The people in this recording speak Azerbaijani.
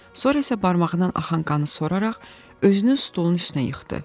Sonra isə barmağından axan qanı soraraq özünü stolun üstünə yıxdı.